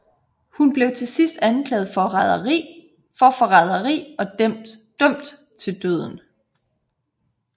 Hun blev til sidst anklaget for forræderi og dømt til døden